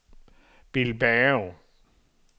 Bilbao